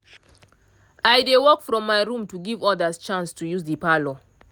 i dey work from my room to give others chance to use the parlour